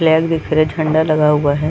Flag दिख रही है झंडा लगा हुआ है।